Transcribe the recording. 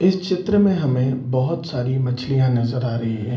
इस चित्र में हमें बहुत सारी मछलियां नजर आ रही है।